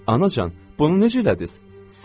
Anacan, bunu necə elədiz?